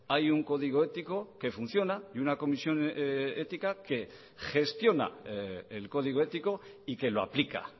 hay un código ético que funciona y una comisión ética que gestiona el código ético y que lo aplica